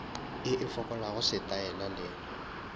ye e fokolago setaela le